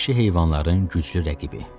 Vəhşi heyvanların güclü rəqibi.